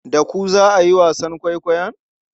Da ku za a yi wasan kwaikwayon?